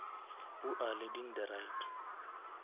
who are leading the right